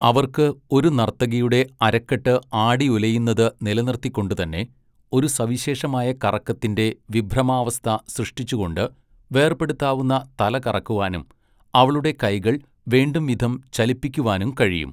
അവർക്ക് ഒരു നർത്തകിയുടെ അരക്കെട്ട് ആടിയുലയുന്നത് നിലനിർത്തിക്കൊണ്ടുതന്നെ, ഒരു സവിശേഷമായ കറക്കത്തിൻ്റെ വിഭ്രമാവസ്ഥ സൃഷ്ടിച്ചുകൊണ്ട്, വേർപെടുത്താവുന്ന തല കറക്കുവാനും, അവളുടെ കൈകൾ വേണ്ടുംവിധം ചലിപ്പിക്കുവാനും കഴിയും.